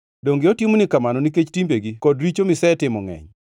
Donge otimoni kamano nikech timbegi kod richo misetimo ngʼeny?